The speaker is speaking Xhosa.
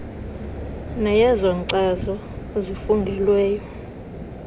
neyezo nkcazo zifungelweyo